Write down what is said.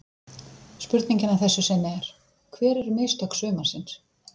Spurningin að þessu sinni er: Hver eru mistök sumarsins?